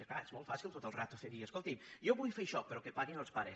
és clar és molt fàcil tota l’estona dir escoltin jo vull fer això però que paguin els pares